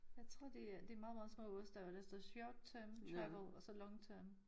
Jeg tror det er det meget meget små oste og der står short term travel og så long term